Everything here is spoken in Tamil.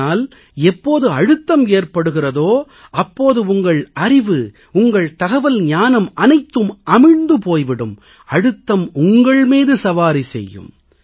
ஆனால் எப்போது அழுத்தம் ஏற்படுகிறதோ அப்போது உங்கள் அறிவு உங்கள் தகவல் ஞானம் அனைத்தும் அமிழ்ந்து போய் விடும் அழுத்தம் உங்கள் மீது சவாரி செய்யும்